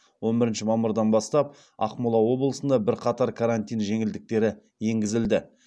он бірінші мамырдан бастап ақмола облысында бірқатар карантин жеңілдіктері енгізілді